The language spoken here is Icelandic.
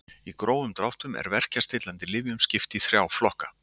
Í grófum dráttum er verkjastillandi lyfjum skipt í þrjá flokka.